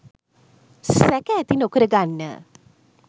සැක ඇති නොකරගන්න.